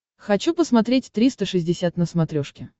хочу посмотреть триста шестьдесят на смотрешке